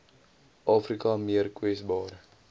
afrika meer kwesbaar